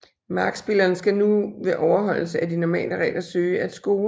Markspilleren skal nu ved overholdelse af de normale regler søge at score